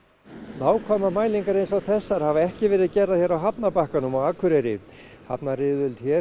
nákvæmar mælingar eins og þessar hafa ekki verið gerðar hér á hafnarbakkanum á Akureyri hafnaryfirvöld hér